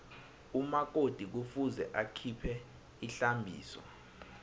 umakoti kufuze akhiphe ihlambiso